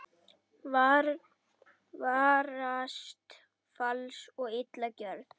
Varast fals og illa gjörð.